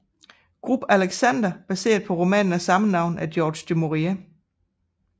Grubb Alexander baseret på romanen af samme navn af George du Maurier